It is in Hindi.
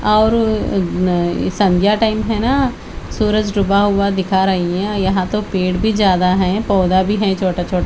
और अ अ संध्या टाईम है ना सूरज डूबा हुआ दिखा रहा है यहाँ तो पेड़ भी ज्यादा है पौधा भी है छोटा छोटा--